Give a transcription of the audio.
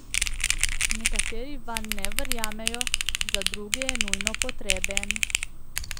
Nekateri vanj ne verjamejo, za druge je nujno potreben.